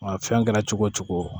Nka fɛn kɛra cogo o cogo